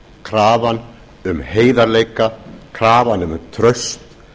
krafan um heiðarleika krafan um traust